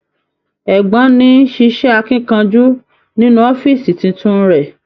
Ẹ̀gbọ́n ni ṣiṣẹ akínkanjú nínú ọ̀fiísí títún rẹ.